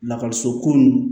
Lakɔliso ko nin